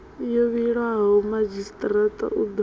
yo vhilwaho madzhisitirata u ḓo